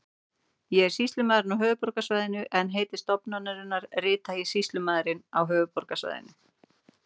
Ég er sýslumaðurinn á höfuðborgarsvæðinu en heiti stofnunarinnar rita ég Sýslumaðurinn á höfuðborgarsvæðinu.